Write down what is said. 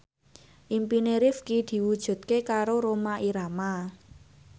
impine Rifqi diwujudke karo Rhoma Irama